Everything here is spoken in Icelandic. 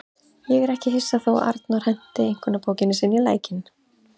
Ég er ekki hissa þó að Arnór henti einkunnabókinni sinni í lækinn.